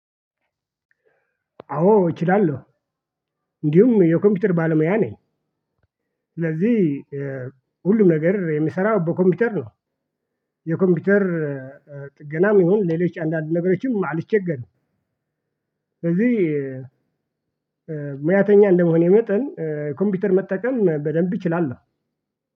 አዎ እችላለሁ። እንዲሁም የኮምፒውተር ባለሙያ ነኝ። ስለዚህ ሁሉም ነገር የሚሰራው በኮምፒውተር ነው። የኮምፒውተር ገናም ይሁን ሌሎች አንዳንድ ነገሮችም አልቸገርም። ስለዚህ ሙያተኛ እንደመሆኔ መጠን ኮምፒውተር መጠቀም በደንብ እችላለሁ።